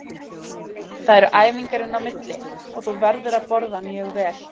Það eru æfingar inn á milli og þú verður að borða mjög vel.